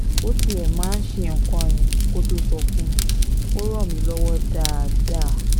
ó tiẹ̀ ti máa ń ṣe nǹkan yẹn kó tóo sọ fún mi ò ràn mí lọ́wọ́ dáadáa